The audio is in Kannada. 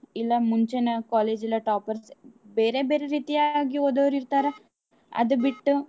ಇಲ್ಲಾ ಮುಂಚೆನೆ collage ಲ toppers ಬೇರೇ ಬೇರೇ ರೀತಿಯಾಗಿ ಓದೋರ್ ಇರ್ತಾರ ಅದ್ ಬಿಟ್ಟು .